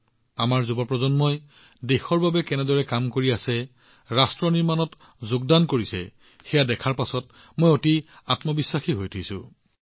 যি ধৰণে আমাৰ আজিৰ যুৱকযুৱতীসকলে দেশৰ বাবে কাম কৰি আছে আৰু ৰাষ্ট্ৰ নিৰ্মাণত অংশগ্ৰহণ কৰিছে সেইটোৱে মোক আত্মবিশ্বাসেৰে ভৰাই তুলিছে